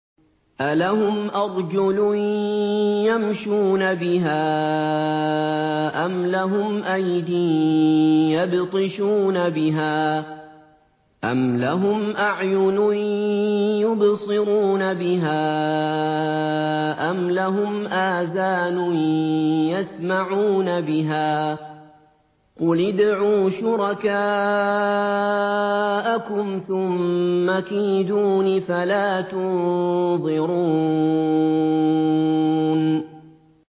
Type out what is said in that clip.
أَلَهُمْ أَرْجُلٌ يَمْشُونَ بِهَا ۖ أَمْ لَهُمْ أَيْدٍ يَبْطِشُونَ بِهَا ۖ أَمْ لَهُمْ أَعْيُنٌ يُبْصِرُونَ بِهَا ۖ أَمْ لَهُمْ آذَانٌ يَسْمَعُونَ بِهَا ۗ قُلِ ادْعُوا شُرَكَاءَكُمْ ثُمَّ كِيدُونِ فَلَا تُنظِرُونِ